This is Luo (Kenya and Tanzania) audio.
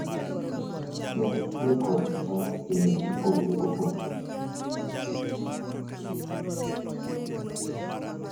kendo tiyo kodgi marach e yore mopogore opogore.